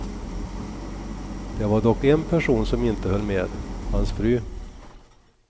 Det var dock en person som inte höll med, hans fru.